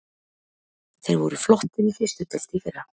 Þeir voru flottir í fyrstu deild í fyrra.